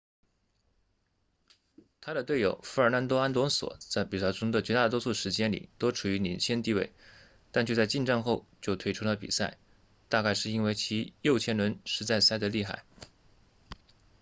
他的队友费尔南多阿隆索 fernando alonso 在比赛中的绝大多数时间里都处于领先地位但却在进站后就退出了比赛大概是因为其右前轮实在塞得厉害